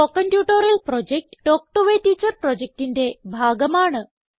spoken tutorial project talk to a teacher പ്രൊജക്റ്റിന്റെ ഭാഗമാണ്